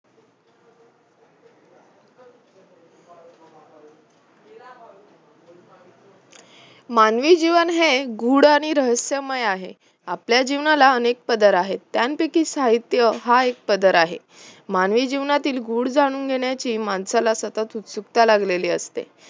मानवी जीवन हे गूढ आणि रहस्यमय आहे, आपल्या जीवनाला अनेक पदर आहेत त्यापैकीच साहित्य हा एक पदर आहे मानवी जीवनातील गूढ जाणून घेण्याची माणसाला सतत उत्सुकता लागलेली असते